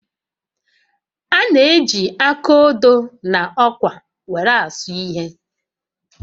A na-eji áká odo na ọkwá were asụ ihe